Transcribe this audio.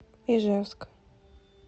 ижевск